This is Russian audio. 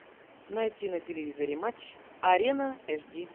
найти на телевизоре матч арена эш ди